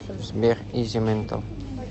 сбер изи ментал